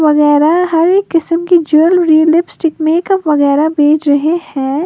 वगैरह हर एक किस्म की ज्वैलरी लिपस्टिक मेकअप वगैरह बेच रहे हैं।